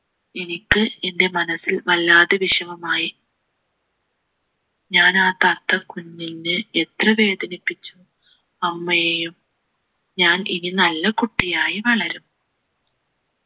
എനിക്ക് എൻ്റെ മനസ്സിൽ വല്ലാതെ വിഷമമായി ഞാൻ ആ തത്ത കുഞ്ഞിനെ എത്ര വേദനിപ്പിച്ചു അമ്മയെയും ഞാൻ ഇനി നല്ല കുട്ടിയായി വളരും